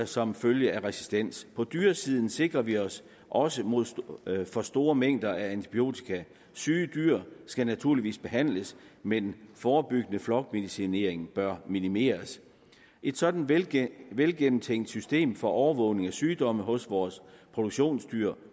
som følge af resistens på dyresiden sikrer vi os også mod store mængder af antibiotika syge dyr skal naturligvis behandles men forebyggende flokmedicinering bør minimeres et sådant velgennemtænkt velgennemtænkt system for overvågning af sygdomme hos vores produktionsdyr